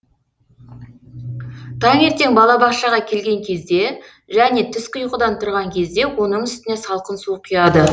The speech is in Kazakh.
таңертең балабақшаға келген кезде және түскі ұйқыдан тұрған кезде оның үстіне салқын су құяды